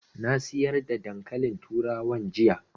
Na sayar da dankalin turawan jiya